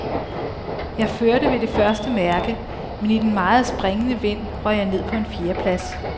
Jeg førte ved det første mærke, men i den meget springende vind røg jeg ned på en fjerdeplads.